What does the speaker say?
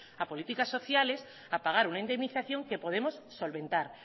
a políticas sociales a pagar una indemnización que podemos solventar